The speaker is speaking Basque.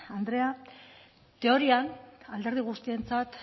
andrea teorian alderdi guztientzat